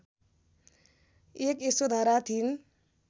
एक यशोधरा थिइन्